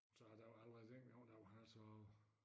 Så der var allerede dengang der var han altså